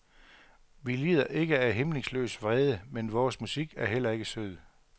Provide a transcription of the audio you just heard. Vi lider ikke af hæmningsløs vrede, men vores musik er heller ikke sød.